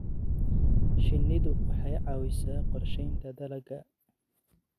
Shinnidu waxay caawisaa qorshaynta dalagga.